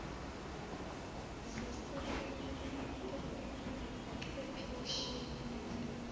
zesayensi ubuchwepheshe nezifundo